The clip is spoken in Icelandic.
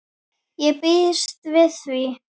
Ég býst við því.